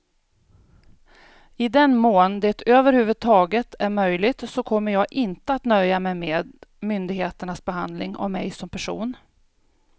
I den mån det över huvud taget är möjligt så kommer jag inte att nöja mig med myndigheternas behandling av mig som person.